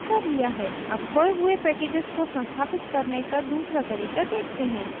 अब खोये हुए packages को संस्थापित करने का दूसरा तरीका देखते हैं